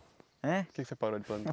Ãh? Por que você parou de plantar?